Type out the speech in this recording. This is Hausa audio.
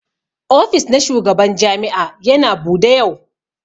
Ofis na shugaban jami'a Yana Bude yau.